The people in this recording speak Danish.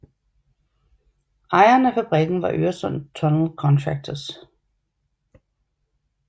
Ejeren af fabrikken var Øresund Tunnel Contractors